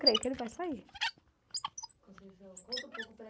creio que ele vai sair